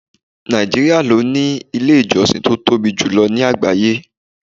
Nàìjíríà ló ní ilé ìjọsìn tó tóbi jù lọ ní àgbáyé.